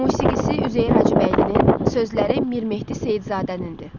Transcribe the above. Musiqisi Üzeyir Hacıbəylinin, sözləri Mirmehdi Seyidzadənindir.